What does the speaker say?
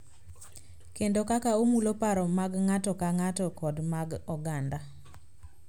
Kendo kaka omulo paro mag ng�ato ka ng�ato kod mag oganda.